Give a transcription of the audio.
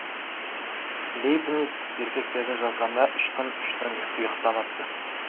лейбниц еркектерді жазғанда үш күн үш түн ұйықтамапты